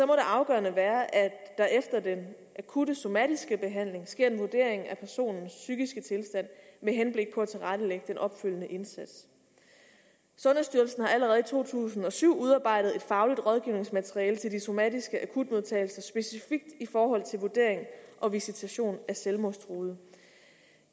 det afgørende være at der efter den akutte somatiske behandling sker en vurdering af personens psykiske tilstand med henblik på at tilrettelægge den opfølgende indsats sundhedsstyrelsen har allerede i to tusind og syv udarbejdet et fagligt rådgivningsmateriale til de somatiske akutmodtagelser specifikt i forhold til vurdering og visitation af selvmordstruede